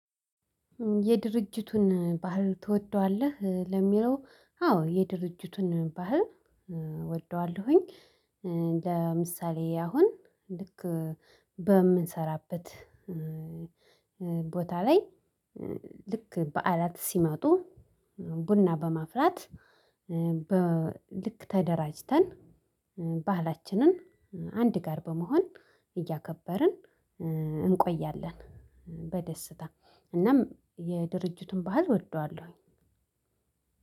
የድርጅቱን ባህል ትወደዋለህ? ለሚለው አዎ የድርጅቱን ባህል እወደዋለሁኝ። ለምሳሌ አሁን ልክ በምሰራበት ቦታ ላይ ልክ በዓላት ሲመጡ ቡና በማፍላት በ ልክ ተደራጅተን ባህላችንን አንድ ጋር በመሆን እያከበርን እንቆያለን። በደስታ እናም የድርጅቱን ባህል እወደዋለሁኝ።